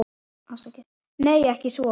Nei, ekki svo.